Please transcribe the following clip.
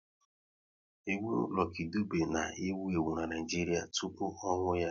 Egwu Lucky Dube na ewu ewu n'Naijiria tụpụ ọnwụ ya